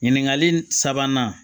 Ɲininkali sabanan